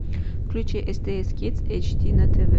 включи стс кидс эйч ди на тв